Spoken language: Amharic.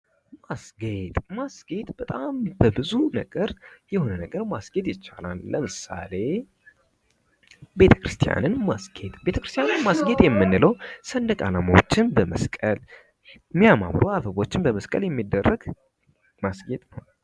ማስጌጥ ማስጌጥ በጣም በብዙ ነገር ማስጌጥ ይቻላል። ለምሳሌ ቤተክርስቲያንን ማስጌጥ ቤተክርስቲያንን ማስጌጥ የምንለው ሰንደቅ አላማዎችን በመስቀል የሚያማምሩ አበባዎችን በመስቀል የሚደረግ ማስጌጥ ነው።